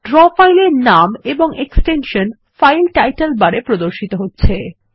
draw ফাইলের নাম এবং এক্সটেনশন ফাইল টাইটেল বারে প্রদর্শিত হচ্ছে